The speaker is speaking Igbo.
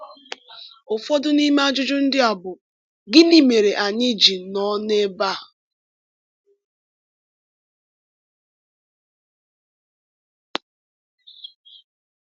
Ụfọdụ n’ime ajụjụ ndị a bụ: Gịnị mere anyị ji nọ n’ebe a?